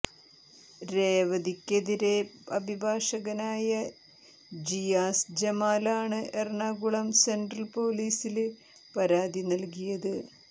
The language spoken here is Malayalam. രേവതിക്കെതിരെ അഭിഭാഷകനായ ജിയാസ് ജമാലാണ് എറണാകുളം സെന്ട്രല് പൊലീസില് പരാതി നല്കിയത്